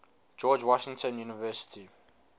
george washington university